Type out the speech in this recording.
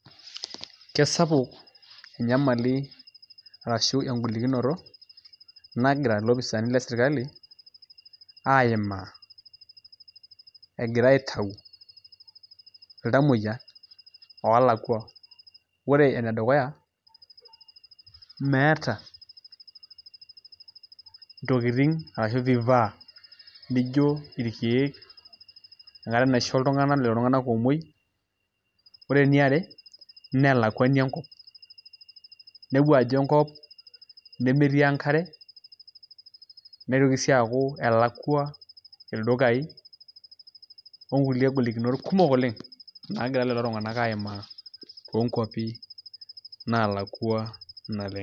Kesapuk enyamali arashu engolikinoto nagira ilopisaani lesirkali aimaa egira aitau iltamuoyia oolakua ore ene dukuya meeta ntokitin arashu vifaa arashu irkeek oisho iltung'anak enkata naamuoi ore eniare naa elakuani enkop inepu ajo enkop nemetii enkare nitoki sii aaku elakua ildukaai onkulie golikinot kumok oleng' naagira lelo tung'anak aimaa toonkuapi naalakua naleng'.